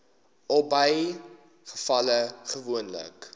albei gevalle gewoonlik